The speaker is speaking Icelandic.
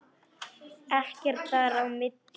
Ekkert þar á milli.